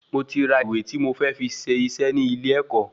Mo ti ra ìwé ti mo fẹ fí ṣé isé ni ile ẹkọ